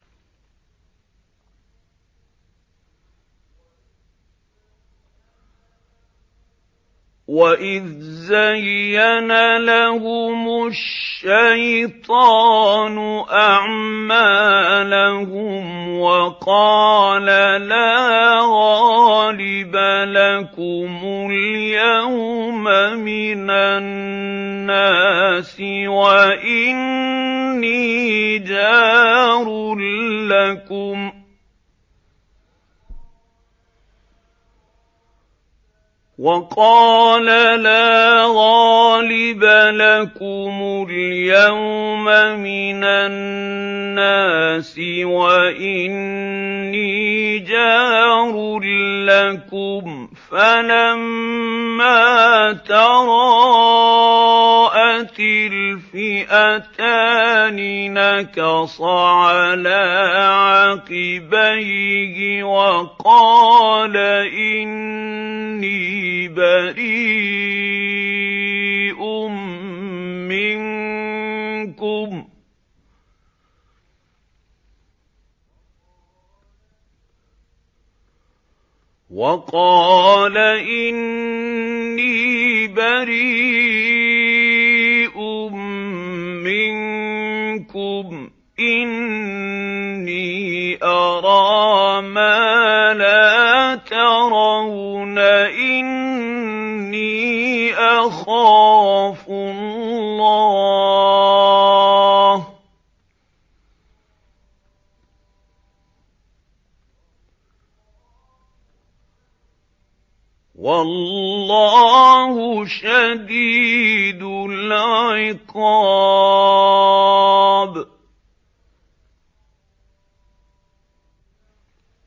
وَإِذْ زَيَّنَ لَهُمُ الشَّيْطَانُ أَعْمَالَهُمْ وَقَالَ لَا غَالِبَ لَكُمُ الْيَوْمَ مِنَ النَّاسِ وَإِنِّي جَارٌ لَّكُمْ ۖ فَلَمَّا تَرَاءَتِ الْفِئَتَانِ نَكَصَ عَلَىٰ عَقِبَيْهِ وَقَالَ إِنِّي بَرِيءٌ مِّنكُمْ إِنِّي أَرَىٰ مَا لَا تَرَوْنَ إِنِّي أَخَافُ اللَّهَ ۚ وَاللَّهُ شَدِيدُ الْعِقَابِ